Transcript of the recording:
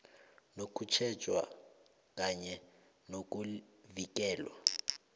nokutjhejwa kanye nokuvikelwa